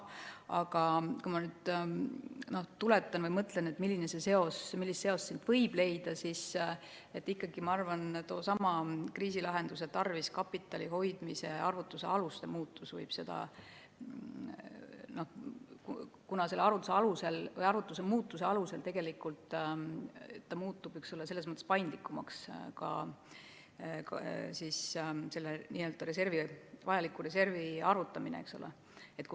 Aga kui ma mõtlen, millist seost siit võib leida, siis ma arvan ikkagi, et toosama kriisilahenduse tarvis kapitali hoidmise arvutuse aluste muutmine võib seda, kuna selle arvutuse muutmisel muutub tegelikult ju paindlikumaks ka vajaliku reservi arvutamine, eks ole.